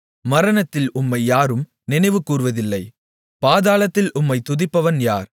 மரணத்தில் உம்மை யாரும் நினைவுகூர்வதில்லை பாதாளத்தில் உம்மைத் துதிப்பவன் யார்